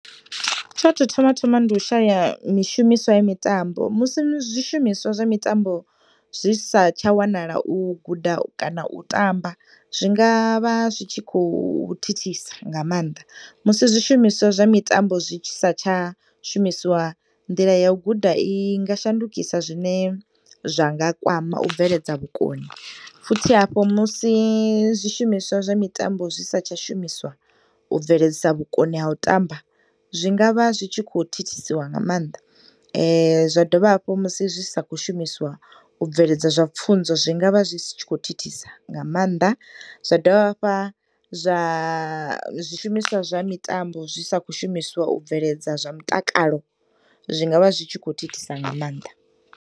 Tsho to thoma thoma ndi u shaya mishumiswa ya mitambo musi zwishumiswa zwa mitambo zwi sa tsha wanala u guda kana u tamba zwingavha zwi khou thithisa nga maanḓa. Musi zwishumiswa zwa mitambo zwi sa tsha shumisiwa nḓila ya u guda inga shandukisa zwine zwanga kwama ubveledza vhukoni, futhi hafho musi zwishumiswa zwa mitambo zwi tsha sa shumiswa ubveledzisa vhukoni ha utamba. Zwingavha zwitshikho thithisiwa nga maanḓa. Zwadovha hafhu musi zwi sa kho shumiswa u bveledza zwa pfunzo zwingavha zwi tshikho thithisa nga maanḓa zwa dovha hafha zwa, zwishumiswa zwa mitambo zwi sa kho shumiswa u bveledza zwa mutakalo, zwingavha zwi tshi kho thithisa nga maanḓa.